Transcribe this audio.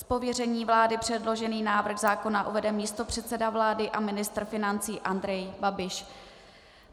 Z pověření vlády předložený návrh zákona uvede místopředseda vlády a ministr financí Andrej Babiš.